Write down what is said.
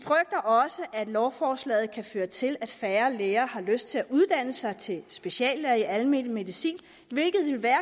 også at lovforslaget kan føre til at færre læger har lyst til at uddanne sig til speciallæger i almen medicin hvilket vil være